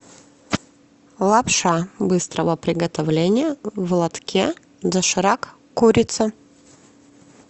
лапша быстрого приготовления в лотке доширак курица